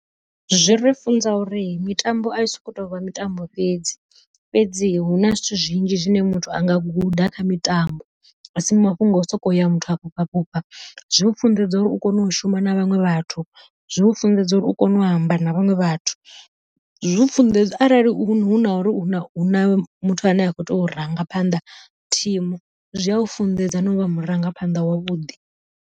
Zwi ri funza uri mitambo ai soko tovha mitambo fhedzi, fhedzi huna zwithu zwinzhi zwine muthu anga guda kha mitambo, a si mafhungo a u soko ya muthu a fhufha fhufha zwi mufunḓedza uri u kone u shuma na vhaṅwe vhathu zwi u funḓedza uri u kone u amba na vhaṅwe vhathu. Zwi u funḓedza uri arali huna uri huna muthu ane a kho tea u rangaphanḓa thimu zwi a u funḓedza na u vha murangaphanḓa wavhuḓi.